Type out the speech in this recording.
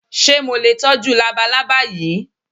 Ṣé mo lè tọ́jú labalábá yìí?